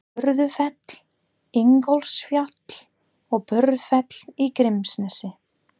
Vörðufell, Ingólfsfjall og Búrfell í Grímsnesi.